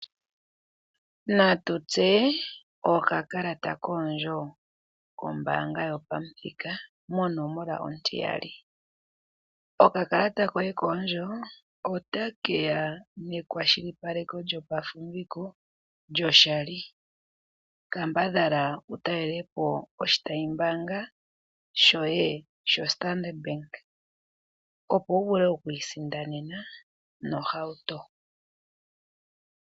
Natutseye okakalata koondjo kombaanga yopamuthika monomola 2. Okakalata koye koondjo ota keya nekwashilipaleko lyopafumbiko lyo shali. Kambadhala wu talele po oshitayi mbaanga shoye sho Standard opo wu vule okwiisindanena ohauto.